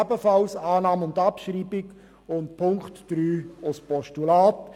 ebenfalls Annahme und Abschreibung und Punkt 3: Postulat.